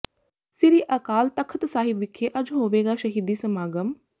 ਸ੍ਰੀ ਅਕਾਲ ਤਖ਼ਤ ਸਾਹਿਬ ਵਿਖੇ ਅੱਜ ਹੋਵੇਗਾ ਸ਼ਹੀਦੀ ਸਮਾਗਮ